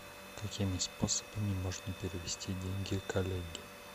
какими способами можно перевести деньги коллеге